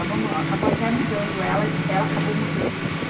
Acabou até mudando ela, ela acabou mudando de lá.